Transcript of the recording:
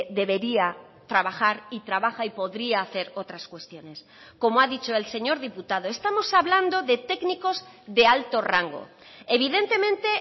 debería trabajar y trabaja y podría hacer otras cuestiones como ha dicho el señor diputado estamos hablando de técnicos de alto rango evidentemente